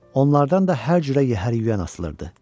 Onlardan da hər cürə yəhər yüyən asılırdı.